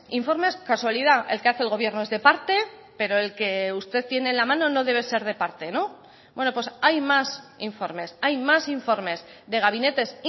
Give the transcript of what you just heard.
informes casualidad el que hace el gobierno es de parte pero el que usted tiene en la mano no debe ser de parte no bueno pues hay más informes hay más informes de gabinetes